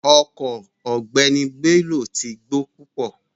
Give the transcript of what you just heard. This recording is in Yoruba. Ọko ogbeni Bello ti gbo pupo